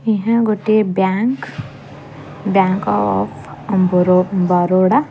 ଏହା ଗୋଟିଏ bank bank of ବରୋ ବରୋଡ଼ା ।